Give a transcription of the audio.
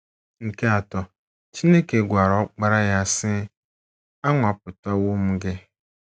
Nke atọ, Chineke gwara Ọkpara ya, sị: “ Anwapụtawo m gị. ”